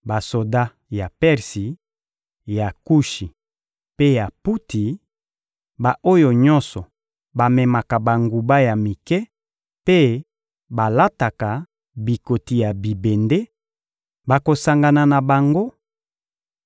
Basoda ya Persi, ya Kushi mpe ya Puti, ba-oyo nyonso bamemaka banguba ya mike mpe balataka bikoti ya bibende, bakosangana na bango;